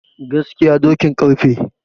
Gaskiya dokin ƙarfe